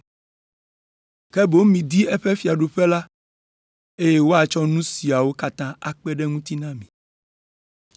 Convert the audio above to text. Ke boŋ midi eƒe fiaɖuƒe la, eye woatsɔ nu siawo katã akpe ɖe eŋuti na mi.”